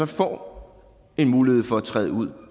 får en mulighed for at træde ud